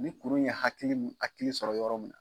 Ni kuru in ye hakili min hakili sɔrɔ yɔrɔ min